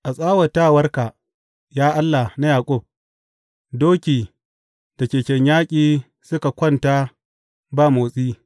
A tsawatawarka, ya Allah na Yaƙub, doki da keken yaƙi suka kwanta ba motsi.